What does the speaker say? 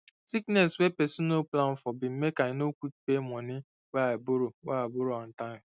sickness wey person no plan for been makei no quick pay money wey i borrow wey i borrow on time